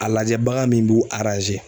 A lajɛ bagan min b'u